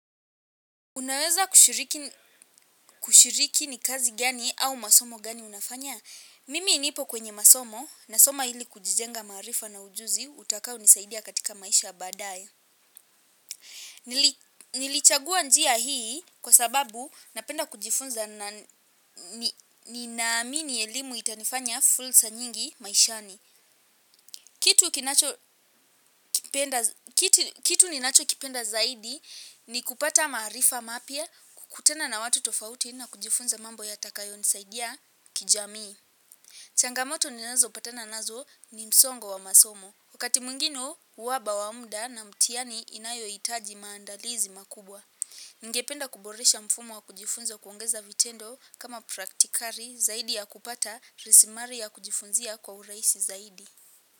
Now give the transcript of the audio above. Unaweza kushiriki ni kazi gani au masomo gani unafanya? Mimi nipo kwenye masomo nasoma ili kujijenga maarifa na ujuzi utakaonisaidia katika maisha ya baadae. Nilichagua njia hii kwa sababu napenda kujifunza na ninaamini elimu itanifanya fursa nyingi maishani. Kitu ninachokipenda zaidi ni kupata maarifa mapya kukutana na watu tofauti na kujifunza mambo yatakayonisaidia kijamii. Changamoto ninazopatana nazo ni msongo wa masomo. Wakati mwingine, uhaba wa muda na mtihani inayohitaji maandalizi makubwa. Ningependa kuboresha mfumo wa kujifunza kuongeza vitendo kama praktikari zaidi ya kupata rasilimali ya kujifunzia kwa urahisi zaidi.